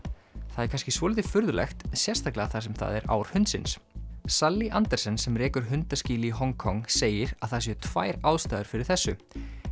það er kannski svolítið furðulegt sérstaklega þar sem það er ár hundsins Andersen sem rekur hundaskýli í Hong Kong segir að það séu tvær ástæður fyrir þessu